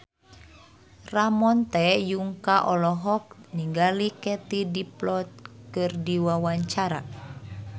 Ramon T. Yungka olohok ningali Katie Dippold keur diwawancara